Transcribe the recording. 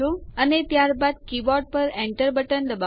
અને ત્યારબાદ કીબોર્ડ પર Enter બટન દબાવો